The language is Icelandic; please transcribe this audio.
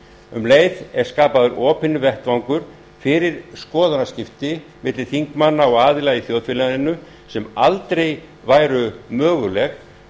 um leið er skapaður opinn vettvangur fyrir skoðanaskipti milli þingmanna og aðila í þjóðfélaginu sem aldrei væri mögulegt